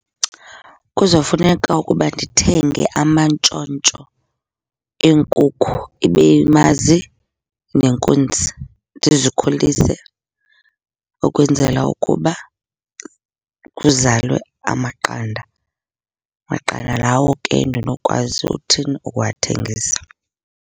Kuzofuneka ukuba ndithenge amantshontsho eenkukhu, ibe yimazi nenkunzi. Ndizikhulise ukwenzela ukuba kuzalwe amaqanda. Maqanda lawo ke endinokwazi uthini? Ukuwathengisa.